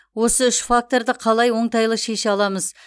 осы үш факторды қалай оңтайлы шеше аламыз